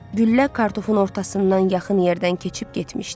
Güllə kartofun ortasından yaxın yerdən keçib getmişdi.